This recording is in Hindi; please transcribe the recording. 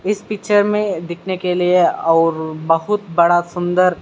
इस पिक्चर मे दिखने के लिए और बहुत बड़ा सुन्दर--